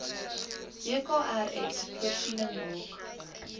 wkrs voorsiening maak